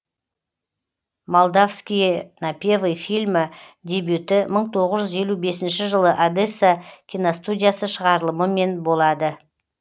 молдавские напевы фильмі дебюті мың тоғыз жүз елу бесінші жылы одесса киностудиясы шығарылымымен болады